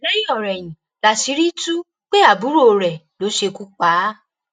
lẹyìnọrẹyìn láṣìírí tú pé àbúrò rẹ ló ṣekú pa á